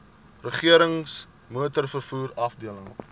regerings motorvervoer afdeling